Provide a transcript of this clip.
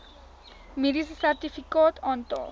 mediese sertifikaat aantal